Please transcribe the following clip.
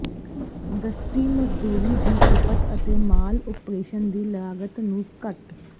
ਦਸਤੀ ਮਜ਼ਦੂਰੀ ਦੀ ਖਪਤ ਅਤੇ ਮਾਲ ਓਪਰੇਸ਼ਨ ਦੀ ਲਾਗਤ ਨੂੰ ਘੱਟ